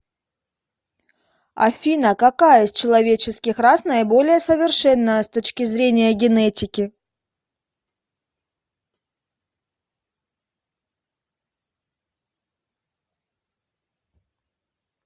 афина какая из человеческих рас наиболее совершенная с точки зрения генетики